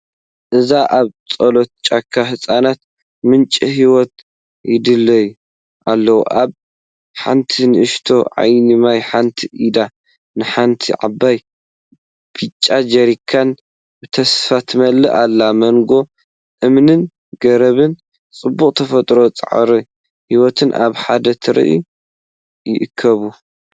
እዚ ኣብ ጽላሎት ጫካ ህጻናት ምንጪ ህይወት ይደልዩ ኣለው። ኣብ ሓንቲ ንእሽቶ ዓይኒ ማይ፡ ሓንቲ ኢድ ንሓንቲ ዓባይ ብጫ ጀሪካን ብተስፋ ትመልኣ። ኣብ መንጎ እምንን ገረብን፡ ጽባቐ ተፈጥሮን ጻዕሪ ህይወትን ኣብ ሓደ ትርኢት ይእከብ።